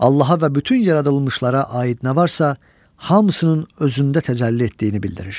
Allaha və bütün yaradılmışlara aid nə varsa, hamısının özündə təcəlli etdiyini bildirir.